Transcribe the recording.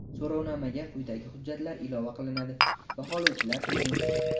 So‘rovnomaga quyidagi hujjatlar ilova qilinadi (baholovchilar uchun):.